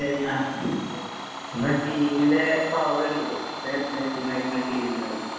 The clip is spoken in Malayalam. നമ്മുടെ ടീമിന്‍റെ പവറ് കണ്ടില്ലേ. മെസ്സി നയിക്കുന്ന ടീമ്.